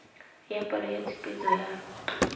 ya palo ya tshupetso ya